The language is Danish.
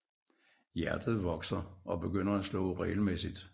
Hjertet vokser og begynder at slå regelmæssigt